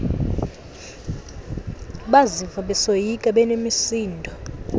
baziva besoyika benemisindo